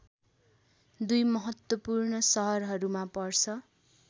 दुई महत्वूपर्ण सहरहरूमा पर्छ